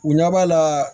U ɲɛ b'a la